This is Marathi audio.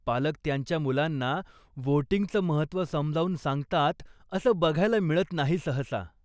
पालक त्यांच्या मुलांना व्होटिंगचं महत्व समजावून सांगतात असं बघायला मिळत नाही सहसा.